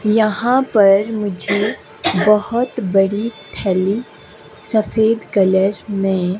यहां पर मुझे बहुत बड़ी थैली सफेद कलर में--